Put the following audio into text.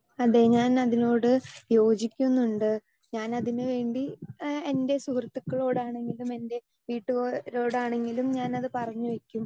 Speaker 2 അതെ ഞാൻ അതിനോട് യോജിക്കുന്നുണ്ട് ഞാൻ അതിനു വേണ്ടി ഏഹ് എൻ്റെ സുഹൃത്തുക്കളോടാണെങ്കിലും എൻ്റെ വീട്ടുകാരോടാണെങ്കിലും ഞാനത് പറഞ്ഞു വെക്കും.